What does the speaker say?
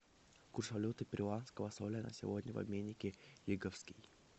курс валюты перуанского соля на сегодня в обменнике лиговский